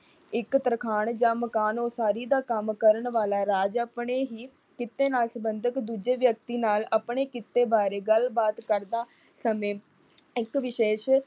ਇਕ ਤਰਖਾਣ ਜਾਂ ਮਕਾਨ ਉਸਾਰੀ ਦਾ ਕੰਮ ਕਰਨ ਵਾਲਾ ਰਾਜ ਆਪਣੇ ਹੀ ਕਿੱਤੇ ਨਾਲ ਸਬੰਧਤ ਦੂਜੇ ਵਿਅਕਤੀ ਨਾਲ ਆਪਣੇ ਕਿੱਤੇ ਬਾਰੇ ਗੱਲਬਾਤ ਕਰਦਾ ਸਮੇਂ ਇਕ ਵਿਸ਼ੇਸ਼।